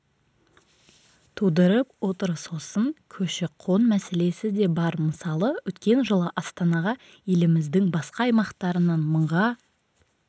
тудырып отыр сосын көші-қон мәселесі де бар мысалы өткен жылы астанаға еліміздің басқа аймақтарынан мыңға